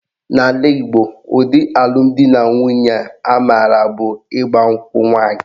N'ala Igbo, ụdị alụmdinanwunye a maara bụ ịgba nkwụ nwaanyị